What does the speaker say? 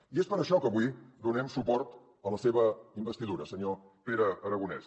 i és per això que avui donem suport a la seva investidura senyor pere aragonès